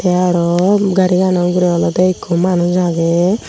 te aro garigano uguri ole ekku manuj agey.